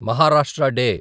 Maharashtra day